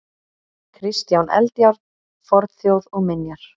Kristján Eldjárn: Fornþjóð og minjar.